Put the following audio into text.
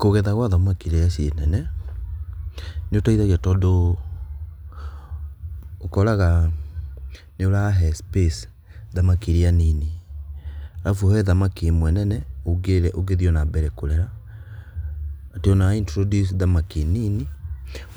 Kũgetha gwa thamaki rĩrĩa ciĩ nene, nĩũteithagia tondũ ũkoraga nĩũrahe space thamaki irĩa nini. Arabu he thamaki ĩmwe nene ũngĩthiĩ o-nambere kũrera atĩ ona wa introduce thamaki nini